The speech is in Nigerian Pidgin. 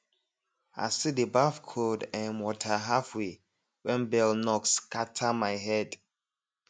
i still dey baff cold um water halfway when bell knock scatter my head